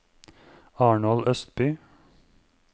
Arnold Østby